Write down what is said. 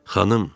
Xanım!